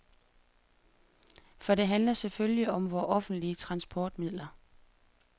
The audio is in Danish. For det handler selvfølgelig om vore offentlige transportmidler.